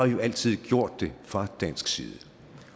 jo altid gjort det fra dansk side